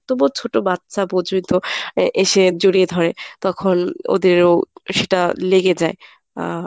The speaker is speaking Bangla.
তবুও ছোট বাচ্চা বোঝই তো এ~ এসে জড়িয়ে ধরে। তখন ওদেরও সেটা লেগে যায়। আহ